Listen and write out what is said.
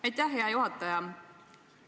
Aitäh, hea juhataja!